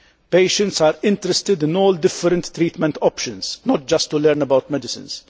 Patients are interested in all different treatment options, not just learning about medicines.